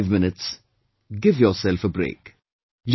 If only for five minutes, give yourself a break